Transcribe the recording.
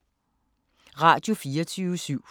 Radio24syv